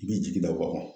I b'i jigi da wagan